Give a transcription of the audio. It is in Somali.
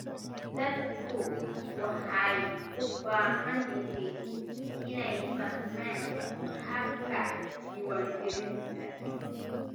Dadku waxay u baahan yihiin inay fahmaan habka diiwaangelinta.